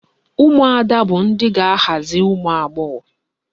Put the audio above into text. Ụmụada bụ ndị ga-aghazi ụmụagbọghọ